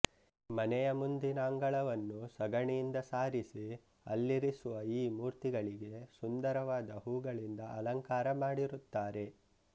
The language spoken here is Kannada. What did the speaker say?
ಮನೆಯ ಮುಂದಿನ ಅಂಗಳವನ್ನು ಸಗಣಿಯಿಂದ ಸಾರಿಸಿ ಅಲ್ಲಿರಿಸುವ ಈ ಮೂರ್ತಿಗಳಿಗೆ ಸುಂದರವಾದ ಹೂಗಳಿಂದ ಅಲಂಕಾರ ಮಾಡಿರುತ್ತಾರೆ